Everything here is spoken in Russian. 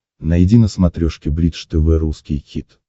найди на смотрешке бридж тв русский хит